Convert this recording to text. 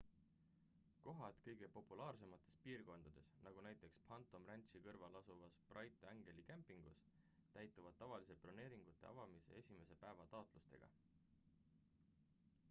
kohad kõige populaarsemates piirkondades nagu näiteks phantom ranchi kõrval asuvas bright angeli kämpingus täituvad tavaliselt broneeringute avamise esimese päeva taotlustega